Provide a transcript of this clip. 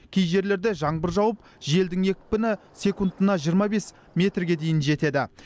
кей жерлерде жаңбыр жауып желдің екпіні секундына жиырма бес метрге дейін жетеді